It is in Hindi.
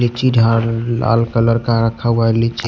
एक चिट हा लाल कलर का रखा हुए है नीचे--